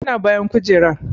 Yana bayan kujerar.